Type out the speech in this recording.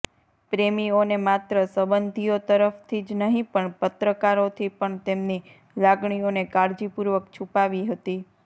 પ્રેમીઓને માત્ર સંબંધીઓ તરફથી જ નહીં પણ પત્રકારોથી પણ તેમની લાગણીઓને કાળજીપૂર્વક છુપાવી હતી